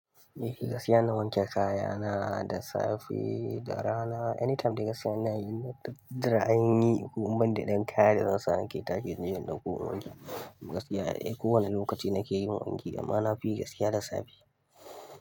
Eh gaskiya inna wanke kayana da safe, da rana, anytime dai gaskiya ina yi, jira ainihi ko in banda ɗan kaya da zan sa nake target inje in dauko in wanke. Gaskiya eh kowane lokaci nake yin wanki, amma na fi yi gaskiya da safe.